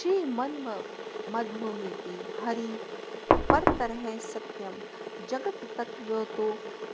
श्रीमन्मध्वमेते हरिः परतरः सत्यं जगत् तत्त्वतो